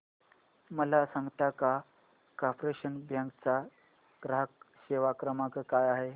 मला सांगता का कॉर्पोरेशन बँक चा ग्राहक सेवा क्रमांक काय आहे